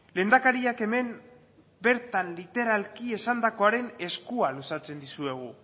lehendakariak hemen bertan literalki esandakoaren eskua luzatzen dizuegu